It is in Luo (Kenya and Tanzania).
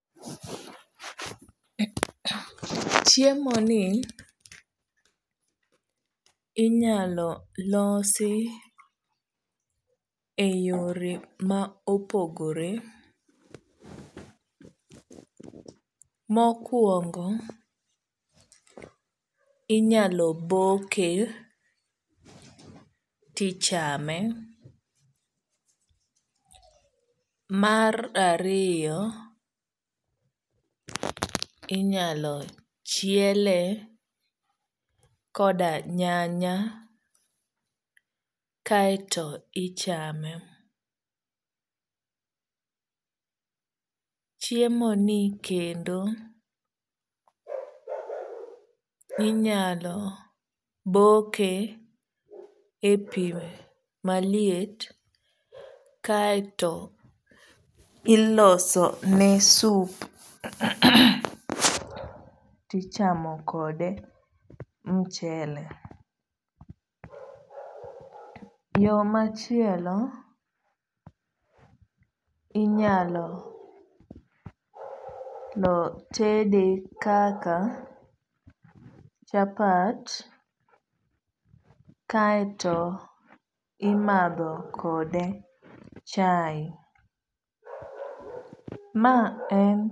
Chiemo ni inyalo losi e yore ma opogore. Mokuongo inyalo boke tichame. Mar ariyo inyalo chiele koda nyanya kaeto ichame. Chiemo ni kendo inyalo boke e pi maliet kaeto iloso ne sup tichamo kode michele. Yo machielo inyalo tede kaka chapat kaeto imadho kode chae. Ma en.